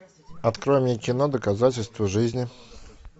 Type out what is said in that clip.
открой мне кино доказательство жизни